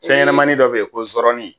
Fɛn ɲanamani dɔ bɛ yen ko zɔrɔni,